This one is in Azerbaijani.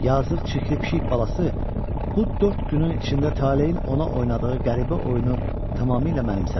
Yazıq çirkli pişik balası bu dörd günün içində talein ona oynadığı qəribə oyunu tamamilə mənimsəmişdi.